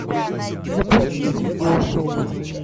запусти видеошоу